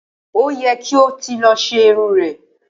Ó ye̩ kí o ti lo̩ s̩e irun re̩